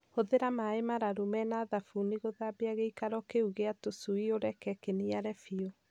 Hũthĩra maaĩ mararu me na thabuni gũthambia gĩikaro kĩu gĩa tũcui ũreke kĩniare biũ.